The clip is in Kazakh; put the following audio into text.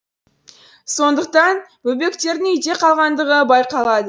сондықтан бөбектердің үйде қалғандығы байқалады